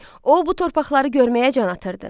O bu torpaqları görməyə can atırdı.